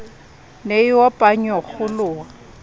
ne e opa a nyokgoloha